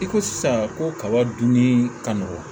I ko sisan ko kaba dunni ka nɔgɔ